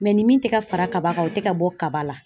ni min tɛ ka fara kaba kan o tɛ ka bɔ kaba la.